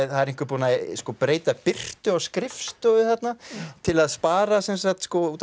það er einhver búinn að breyta birtu á skrifstofu þarna til að spara sem sagt